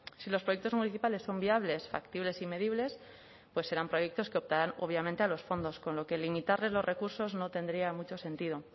si los proyectos municipales son viables factibles y medibles pues serán proyectos que optarán obviamente a los fondos con lo que limitarles los recursos no tendría mucho sentido